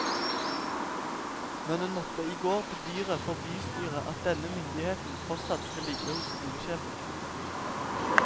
Men hun måtte i går bedyre for bystyret at denne myndigheten fortsatt skal ligge hos skolesjefen.